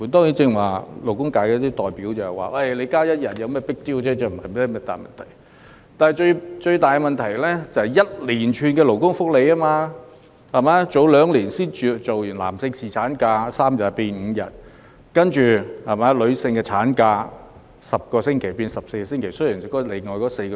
有些勞工界代表剛才表示增加一天假期沒甚麼 big deal、不是大問題，但最大問題是增設了一連串勞工福利，例如男士侍產假在兩年前由3天增至5天，其後女士的產假又由10周增至14周。